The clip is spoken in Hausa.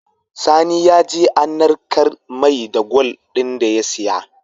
Sani yaje an narka mai gwal din da ya siya